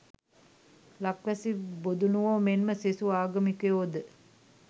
ලක්වැසි බොදුණුවෝ මෙන්ම සෙසු ආගමිකයෝද